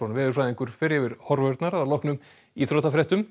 veðurfræðingur fer yfir horfurnar að loknum íþróttafréttum